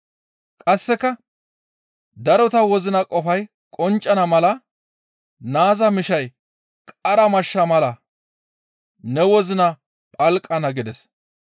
Qasseka darota wozina qofay qonccana mala naaza mishay qara mashsha mala ne wozina phalqana» gides.